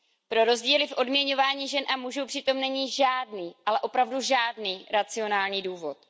Pro rozdíly v odměňování žen a mužů přitom není žádný, ale opravdu žádný racionální důvod.